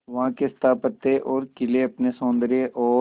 वहां के स्थापत्य और किले अपने सौंदर्य और